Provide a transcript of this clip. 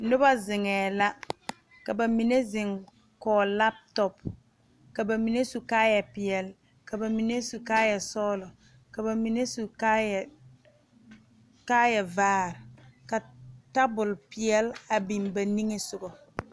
Noba zeŋɛɛ la ka ba mine zeŋ kɔge lape tɔpe ka ba mine su kaayɛpeɛle ka ba mine su kaayɛsɔglɔ ka ba mine su kaayɛ kaayɛvaare ka tabol peɛle a biŋ ba niŋe sogɔ.